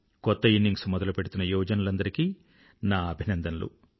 కొత్త ఇన్నింగ్స్ మొదలుపెడుతున్న యువజనులందరికీ నా అభినందనలు